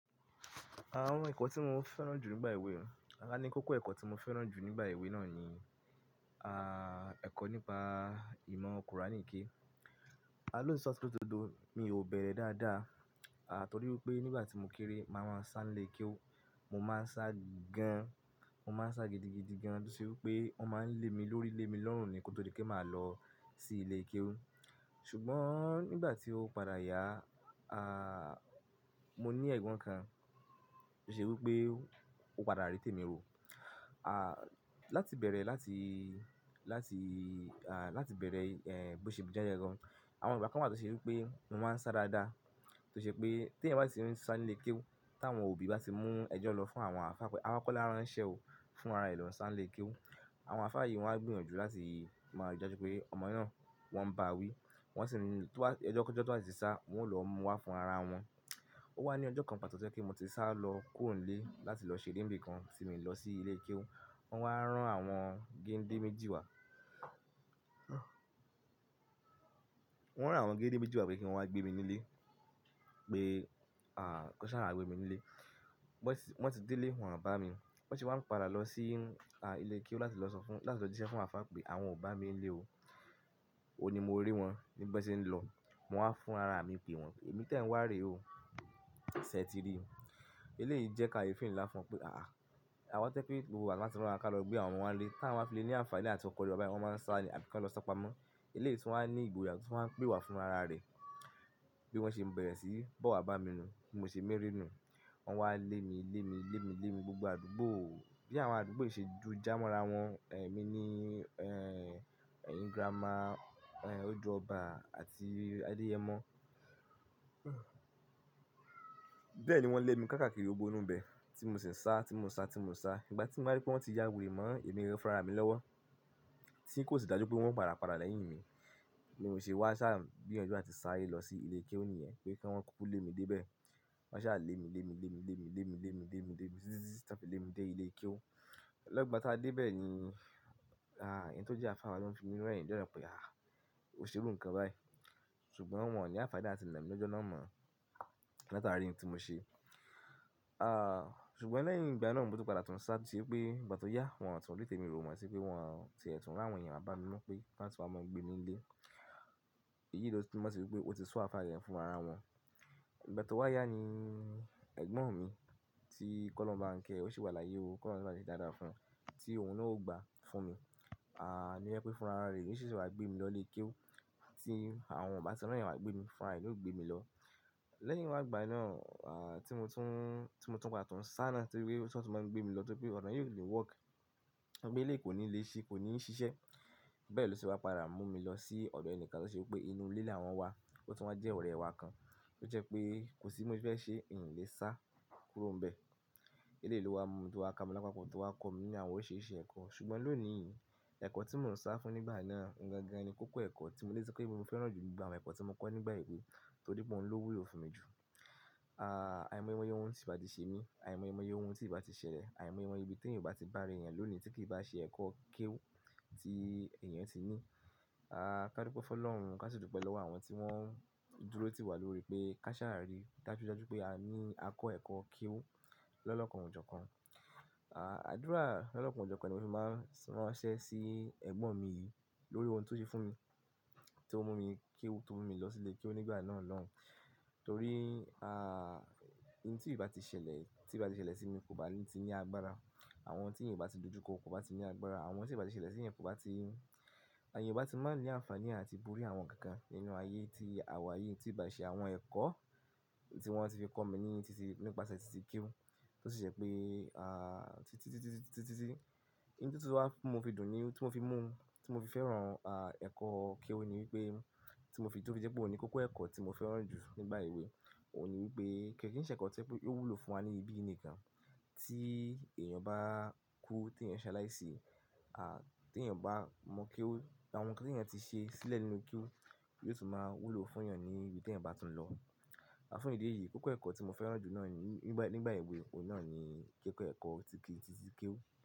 Àwọn ẹ̀kọ́ tí mo fẹ́ràn jù nígbà èwe, àní kókó ẹ̀kọ́ tí mo fẹ́ràn jù nígbà èwe náà ni, ah, ẹ̀kọ́ nípa ìmọ̀ kùránì ke. A lótitọ́ àti ló dodo, mi ò bẹ̀rẹ̀ dáadáa, a torí pé nígbà tí mo kéré, màá máa ń sáńlé kéwú. Mo máa ń sá gan, mo máa ń sá gidigidi gan, tó ṣe pé wọ́n máa ń lé mi lórí ilé mi lọ́rùn ni kótó rí pé màá lọ sí ilé kéwú. Ṣùgbọ́n nígbà tí ó padà yá, ah, mo ní ẹ̀gbọ́n kan tó ṣe wí pé ó padà rí tèmi rò. Ah, láti bẹ̀rẹ̀ láti, láti, ah, láti bẹ̀rẹ̀, eh, bó ṣe bí jẹ́ gan gan. Àwọn ìgbà kan wa tó ṣe wí pé mo máa ń sá dáadáa, tó ṣe pé tí ẹ̀yan bá ti rí mi sáńlé kéwú, táwọn òbí bá ti mú ẹjọ́ lọ fún àwọn àfá, àwọn akọ́lá ránṣẹ́ o fún ara ẹ lọ sáńlé kéwú. Àwọn àfá yìí wọ́n á gbìyànjú láti máa rí i dájú pé ọmọ náà wọ́n ń báa wí. Wọ́n sì ní pé ẹjọ́ kí ẹjọ́ tó bá ti sá, wọn yóò lọ mú wá fún ara wọn. Ó wá ní ọjọ́ kan pàtó tó jẹ́ kí mo ti sá lọ kúrò nlé láti lọ ṣeré n bì kan tí mio lọ sí ilé kéwú. Wọn wá rán àwọn géńdé méjì wá. Wọ́n rán àwọn géńdé méjì wá pé kí wọn wá gbé mi nílé, pé, ah, kí wọ́n sá waà gbé mi nílé. Wọ́n sì, wọ́n tì dé ilé, wọn o bá mi. Bi wọ́n ṣe wá n padà lọ sí, ah, ilé kéwú láti lọ sọ fún, láti lọ jiṣẹ́ fún àwọn àfá pé àwọn ò bá mi nílé o. Ó ni mo rí wọn ní bi wọ́n ṣe ń lọ. Mo wá fún ara mi pé wọn, èmi tẹ ẹ̀ n wá rè o. Ṣẹ̀ eti rí o. Ilé yìí jẹ́ káyeefẹi nlá fún wọn pé àá, àwọn tó jẹ́ wí pé gbogbo ìgbà tí wọ́n bá ti rán wa kí a lọ gbé àwọn ọmọ wa nílé. Tí wọ́n bá fi lé ní àǹfààní àti kọkọ̀ lo, wọ́n máa ń sá àbí kí wọn lọ sọ́pamọ́. Ilé yìí tún wá ní ìgboyà o tún wá ń pè wá fún ara rẹ̀. Bí wọ́n ṣe ń bẹ̀rẹ̀ síí, bọ́ wá bá mi nu. Mo sì ń mí rí nu. Wọ́n wá lé mi, lé mi, lé mi, lé mi gbogbo àdúgbò. Bí àwọn àdúgbò yìí ṣe ju já mọ́ra wọn. Eh, èmi ni, eh, ẹ̀yin grammar, eh, ojú ọba àti adìyẹ mọ́. Bẹ́ẹ̀ ni wọ́n lé mi káàkiri gbogbó inú ibẹ̀. Tí mo sì ń sá, tí mo ń sá, tí mo ń sá. Ìgbà tí mo bá rí pé wọ́n ti yàwere mọ́, èmi gangan fún ra mi lọ́wọ́. Tí kò sì dájú pé wọ́n padà padà lẹ́yìn mi. Mi ò ṣe wá sá gbìyànjú láti sá ayé lọ sí ilé kéwú nìyẹn, pé kí wọn kúkú lé mi dé bẹ̀. Wọ́n sá lé mi, lé mi, lé mi, lé mi, lé mi, lé mi, lé mi, lé mi títí táa pé lé mi dé ilé kéwú. Lẹ́gbàá táa dé bẹ̀ ni, ah, ẹni tó jẹ́ àfá wa ló fi mí rẹ̀yìn ni jo na pé, ah, ò ṣe irú kan báyìí. Ṣùgbọ́n wọ́n ò ní àǹfààní àti iná mi lọ́jọ́ náà mọ́, látara irin tí mo ṣe. Ah, ṣùgbọ́n lẹ́yìn ìgbà náà mo tun padà tún sá tó ṣe pé ìgbà tó yá wọn tún rí tèmi wò mọ́ sí pé wọ́n ti ẹ̀tùn rán àwọn èèyàn bá mi mọ́ pé bá ti wá mọ gbé nílé. Èyí ló tún mọ̀ sí wí pé ó ti su àfá yẹn fún ara wọn. Ìgbà tó wá yá ni ẹ̀gbọ́n mi tí kọ́lọ́ ń bá ń kẹ́, ó sì wà láyé o. Kọ́lọ́ ń bá ti dáadáa fún ọmọ, tí òun náà ó gba fún mi. Ah, ni ó jẹ́ pé fún ara rẹ̀, nió ṣe ṣe wá gbé mi lọ ilé kéwú. Tí àwọn o ba tí ra yàn wá gbé mi fún ara ẹ ni ó gbé mi lọ. Lẹ́yìn wá ìgbà náà, ah, tí mo tún, tí mo tún padà tún sá náà torí pé ṣó tí wọn máa ń gbé mi lọ torí pé ọ̀nà yìí ò lè wọ́kì. Gbogbo eleyi kò ní lé ṣí, kò ní ṣiṣẹ́. Bẹ́ẹ̀ ló ṣe wá padà mú mi lọ sí ọ̀dọ̀ ẹnìkan tó ṣe wí pé inú ilé làwọn wa. Ó tún wá jẹ́ ọ̀rẹ́ ẹ wa kan, tó jẹ́ pé kò sí bi mó si fẹ́ ṣe mi o lé sá kúrò nìbẹ̀. Ilé yìí ló wá mú mi tó wá ká mi lápa kọ tó wá kọ mí ní àwọn oríṣiríṣi ẹ̀kọ́. Ṣùgbọ́n lónìí, ẹ̀kọ́ tí mò ń sá fún nígbà náà, ohun gangan ni kókó ẹ̀kọ́ tí mo lè sọ pé mo fẹ́ràn jù jù ba àwọn ẹ̀kọ́ tí mo kọ́ nígbà èwe torí pé òun ló wú lo fún mi jù. Ah, àìmọ̀ye mọ̀ yé ohun tí ì bá ti ṣe mí, àìmọ̀ye mọ̀ yé ohun tí ì bá ti ṣẹlẹ̀, àìmọ̀ye mọ̀ye ibi tí èèyàn bá ti bá ara rẹ̀ yẹn lónìí tí kì í bá ṣe ẹ̀kọ́ kéwú tí èèyàn ti ní. Ah, ká dúpẹ́ fọ́ lọ́run, ká sì dùpẹ́ lọ́wọ́ àwọn tí wọ́n dúró tì wá lórí pé ká ṣàárì, ká sì dájú pé a ní a kọ́ ẹ̀kọ́ kéwú lọ́lọ́kan òjọ́ kan. Ah, àdúrà lọ́lọ́kan òjọ́ kan ni mo fi máa ń ṣẹ́ sí ẹ̀gbọ́n mi lórí ohun tó ṣe fún mi, tí ó mú mi kéwú, tó mú mi lọ sí ilé kéwú nígbà náà lọ́hun. Torí, ah, ohun tí i bá ti ṣẹlẹ̀, tí bá ti ṣẹlẹ̀ sí mi kò bá lè ti ní agbára. Àwọn tí èèyàn bá ti dojú kọ́ kò bá ti ní agbára. Àwọn tí èèyàn bá ti ṣẹlẹ̀ sí èèyàn kò bá ti, àh èèyàn ò bá ti máa ń ní àǹfààní àti borí àwọn kan kan nínú ayé tí àwa ayé tí ì bá ṣe àwọn ẹ̀kọ́ tí wọ́n ti fi kọ́ mi ní títí nípasẹ̀ títí kéwú. Tó sì ṣe pé, ah, títí, títí, títí, títí, títí, títí, títí. Ohun tí tó wá mú mi dùn ni, ohun tí mo fi mú un, tí mo fi fẹ́ràn, ah, ẹ̀kọ́ kéwú ni wípé tí mo fi tó wí pé òun ni kókó ẹ̀kọ́ tí mo fẹ́ràn jù nígbà èwe. Ó ní wípé kí ń ṣe ẹ̀kọ́ tẹ́ pé ó wúlò fún wa ní ibi nìkan. Tí èèyàn bá kú, tí èèyàn ṣaláì sí, ah, tí èèyàn bá mọ̀ kéwú, àwọn nǹkan tí èèyàn ti ṣe sílẹ̀ nínú kéwú ni yóò tún máa wúlò fún èèyàn ní ibi tí èèyàn bá tún lọ. Àfún ìdí èyí, kókó ẹ̀kọ́ tí mo fẹ́ràn jù náà ni nígbà, nígbà èwe, òun náà ni kókó ẹ̀kọ́ títí, títí kéwú.